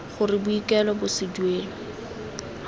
gore boikuelo bo se duelwe